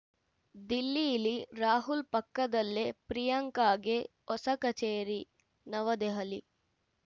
ದಿಲ್ಲೀಲಿ ರಾಹುಲ್‌ ಪಕ್ಕದಲ್ಲೇ ಪ್ರಿಯಾಂಕಾಗೆ ಹೊಸ ಕಚೇರಿ ನವದೆಹಲಿ